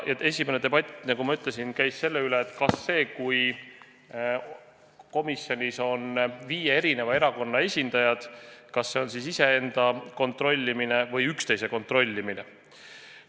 Ja kõigepealt, nagu ma ütlesin, käis debatt selle üle, kas see, kui komisjonis on viie erakonna esindajad, on siis iseenda kontrollimine või üksteise kontrollimine.